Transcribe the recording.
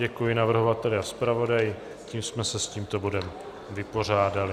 Děkuji navrhovateli a zpravodaji, tím jsme se s tímto bodem vypořádali.